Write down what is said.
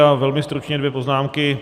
Já velmi stručně dvě poznámky.